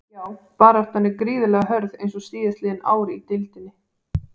Já baráttan er gríðarlega hörð eins og síðastliðin ár í deildinni.